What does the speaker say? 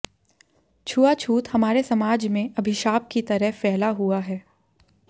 छुआछूत हमारे समाज में अभिशाप की तरह फैला हुआ है